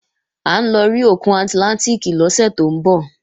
À ń lọ rí ara òkun àtlántìkì lọ́sẹ̀ tó ń bọ̀